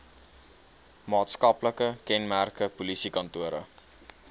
maatskaplike kenmerke polisiekantore